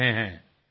হ্যাঁ স্যার